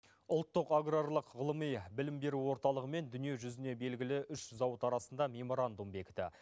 ұлттық аграрлық ғылыми білім беру орталығымен дүниежүзіне белгілі үш зауыт арасында меморандум бекті